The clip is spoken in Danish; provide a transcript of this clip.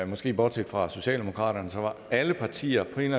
måske bortset fra socialdemokraterne var alle partier på en